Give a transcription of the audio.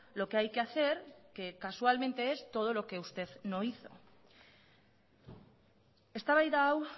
lo que hay que hacer que casualmente es todo lo que usted no hizo eztabaida hau